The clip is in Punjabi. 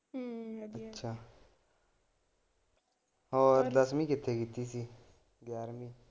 ਅੱਛਾ ਹੋਰ ਦਸਵੀਂ ਕਿਥੇ ਕੀਤੀ ਸੀ ਗਿਆਰਵੀਂ?